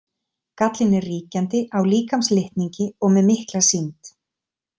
Gallinn er ríkjandi, á líkamslitningi og með mikla sýnd.